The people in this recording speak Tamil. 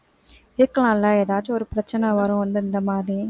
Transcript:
இருக்கலாம்ல ஏதாச்சும் ஒரு பிரச்சனை வரும் இந்~ இந்த மாதிரி